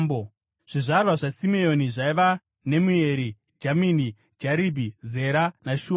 Zvizvarwa zvaSimeoni zvaiva: Nemueri, Jamini, Jaribhi, Zera naShauri;